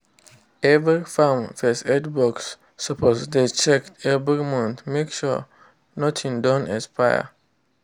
every farm first aid box suppose dey checked every month make sure nothing don expire.